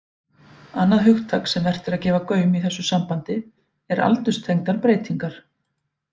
Annað hugtak sem vert er að gefa gaum í þessu sambandi er aldurstengdar breytingar.